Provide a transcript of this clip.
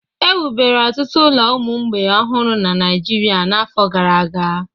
Ewubere ọtụtụ ụlọ ụmụ mgbei ọhụrụ na Naịjirịa n'afọ gara aga